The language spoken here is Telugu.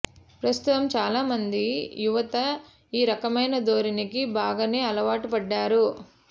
ప్రస్తుతం చాలామంది యువత ఈ రకమైన ధోరణికి బాగానే అలవాటు పడ్డారు